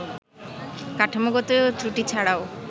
কাঠামোগত ত্রুটি ছাড়াও